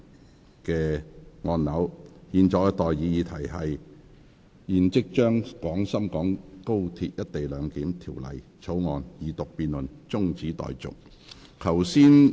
我現在向各位提出的待議議題是：現即將《廣深港高鐵條例草案》的二讀辯論中止待續。